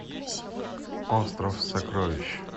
остров сокровищ